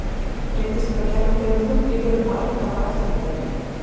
Reyndist þetta kerfi fremur þungt í vöfum og erfitt að hafa eftirlit með því.